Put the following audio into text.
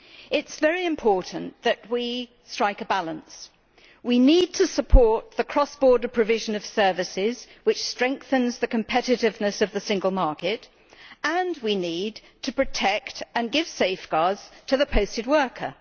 It is very important that we strike a balance we need to support the cross border provision of services, which strengthens the competitiveness of the single market, and we need to protect and give safeguards to the posted worker.